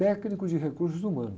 Técnico de recursos humanos.